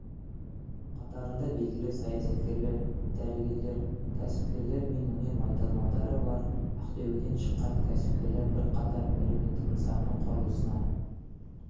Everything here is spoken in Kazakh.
қатарында белгілі саясаткерлер дәрігерлер кәсіпкерлер мен өнер майталмандары бар ақтөбеден шыққан кәсіпкерлер бірқатар әлеуметтік нысанның құрылысына